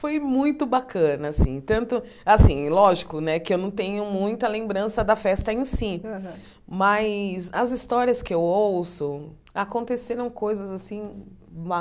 Foi muito bacana, assim, tanto... Assim, lógico né, que eu não tenho muita lembrança da festa em si, aham mas as histórias que eu ouço, aconteceram coisas assim